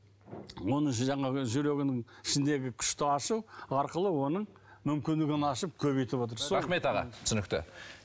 оның жаңағы жүрегінің ішіндегі күшті ашу арқылы оның мүмкіндігін ашып көбейтіп отыр рахмет аға түсінікті